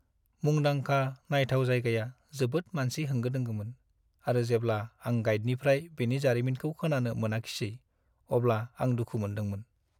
मुंदांखा नायथाव जायगाया जोबोद मानसि होंगो-दोंगोमोन, आरो जेब्ला आं गाइदनिफ्राय बेनि जारिमिनखौ खोनानो मोनाखिसै अब्ला आं दुखु मोनदोंमोन।